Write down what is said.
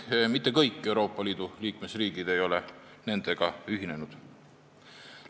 Mitte kõik Euroopa Liidu liikmesriigid ei ole nendega ühinenud.